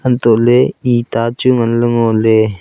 anto le itta chu ngan le ngo le.